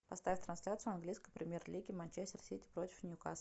поставь трансляцию английской премьер лиги манчестер сити против ньюкасл